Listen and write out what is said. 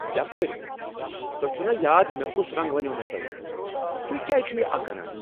یپٲرۍ! تۄہہ چھوٕ نا یاد مےٚ کس رنگ ونیٛوموٕ تۄہہ؟ تہۍ کیٛاز چھوٕ یہ اکھ انان؟